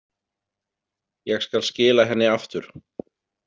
Ég skal skila henni aftur